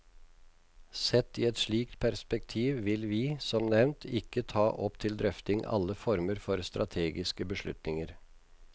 Sett i et slikt perspektiv vil vi, som nevnt, ikke ta opp til drøfting alle former for strategiske beslutninger.